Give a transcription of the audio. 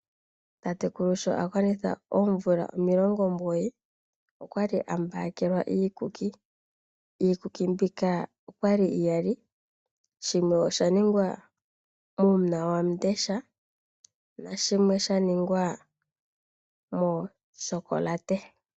Tatekulu sho a gwanitha oomvula omilongo omugoyi, okwa li a mbakelwa iikuki. Iikuki mbika okwa li iyali, shimwe osha ningwa muuna wamudesha, na shimwe sha ningwa muu tyokolate.